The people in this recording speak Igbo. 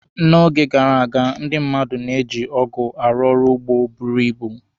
N'oge gara aga, ndị mmadụ na-eji ọgụ arụ ọrụ ugbo buru ibu.